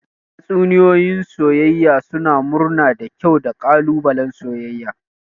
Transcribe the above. Tatsuniyoyi na soyayya suna murna da kyau da ƙalubalen soyayya.